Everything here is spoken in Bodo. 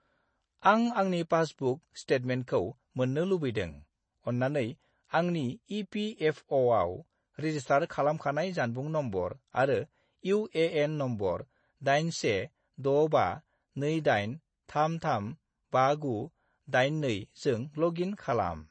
आं आंनि पासबुक स्टेटमेन्टखौ मोन्नो लुबैदों, अन्नानै आंनि इ.पि.एफ.अ'.आव रेजिस्टार खालामखानाय जानबुं नम्बर आरो इउ.ए.एन. नम्बर 816528335982 जों लग इन खालाम।